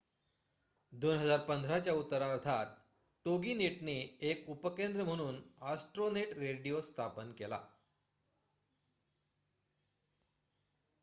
2015 च्या उत्तरार्धात टोगीनेटने एक उपकेंद्र म्हणून ॲस्ट्रोनेट रेडिओ स्थापित केला